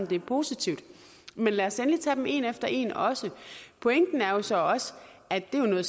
det er positivt men lad os endelig tage dem en efter en også pointen er jo så også at det er noget